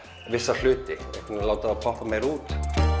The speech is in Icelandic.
að láta það poppa meira út